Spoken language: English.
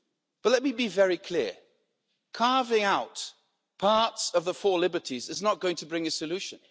But let me be very clear carving out parts of the four liberties is not going to bring a solution.